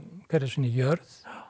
sinni jörð